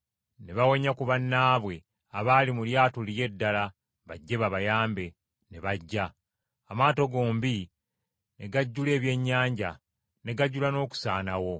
Ne bawenya ku bannaabwe abaali mu lyato liri eddala bajje babayambe, ne bajja, amaato gombi ne gajjula ebyennyanja, ne gajula n’okusaanawo.